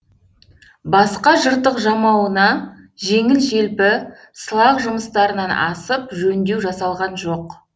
басқа жыртық жамауына жеңіл желпі сылақ жұмыстарынан асып жөндеу жасалған жоқ